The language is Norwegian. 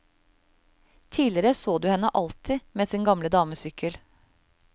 Tidligere så du henne alltid med sin gamle damesykkel.